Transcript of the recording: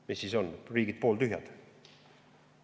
Mis siis on, riigid pooltühjad?